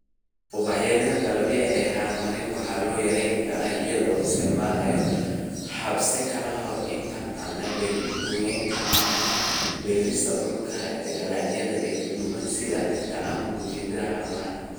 "Ubaxyada gabbaldayaha, haramaha waxaa lagu yarayn karaa iyadoo la isticmaalayo herbicides ka hor inta aan la beerin, goynta haramaha, beerista dhulka dalagyada daboolaya sida digirta ama gubashada haramaha."